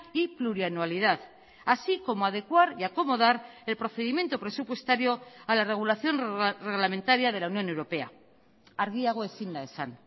y plurianualidad así como adecuar y acomodar el procedimiento presupuestario a la regulación reglamentaria de la unión europea argiago ezin da esan